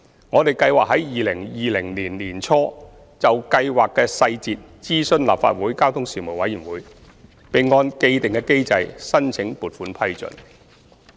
我們計劃在2020年年初就計劃的細節諮詢立法會交通事務委員會，並按既定機制申請撥款批准。